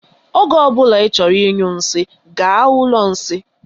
Oge ọbula I chọrọ ịnyụ nsị, gaa ụlọ nsị.